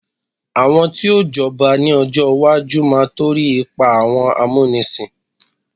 àwọn tio j'oba ni ọjọ iwaju ma to ri ipa awọn amunisin